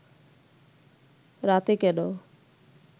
রাতে কেন